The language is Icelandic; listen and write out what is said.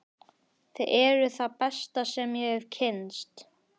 Þið eruð það besta sem ég hef kynnst.